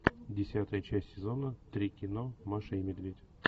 десятая часть сезона три кино маша и медведь